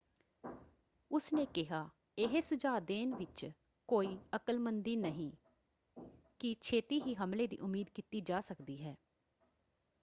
ਉਸਨੇ ਕਿਹਾ,"ਇਹ ਸੁਝਾਅ ਦੇਣ ਵਿੱਚ ਕੋਈ ਅਕਲਮੰਦੀ ਨਹੀਂ ਕਿ ਛੇਤੀ ਹੀ ਹਮਲੇ ਦੀ ਉਮੀਦ ਕੀਤੀ ਜਾ ਸਕਦੀ ਹੈ।